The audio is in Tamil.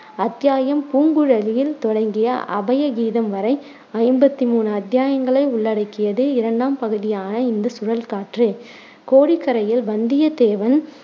அத்தியாயம் பூங்குழலியில் தொடங்கிய அபய கீதம் வரை ஐம்பத்தி மூணு அத்தியாயங்களை உள்ளடக்கியது இரண்டாம் பகுதியான இந்த சுழற்காற்று. கோடிக்கரையில் வந்தியத்தேவன்